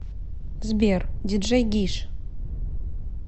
сбер диджей гиш